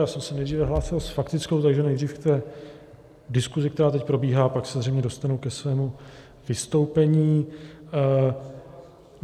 Já jsem se nejdříve hlásil s faktickou, takže nejdřív k té diskusi, která teď probíhá, pak se zřejmě dostanu ke svému vystoupení.